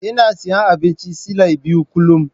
Ina siyan abincin silai biyu kullum.